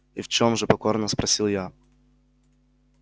и в чём же покорно спросил я